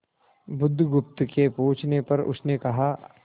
बुधगुप्त के पूछने पर उसने कहा